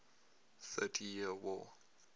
thirty years war